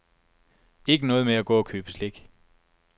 Ikke noget med at gå og købe slik.